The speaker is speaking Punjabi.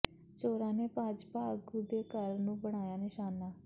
ਚੋਰਾਂ ਨੇ ਭਾਜਪਾ ਆਗੂ ਦੇ ਘਰ ਨੂੰ ਬਣਾਇਆ ਨਿਸ਼ਾਨਾ